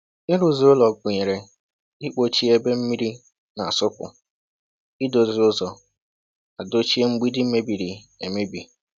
Ịrụzi ụlọ gụnyere ịkpọchie ebe mmiri na-asụpụ, idozi ụzọ, na dochie mgbidi mebiri emebi.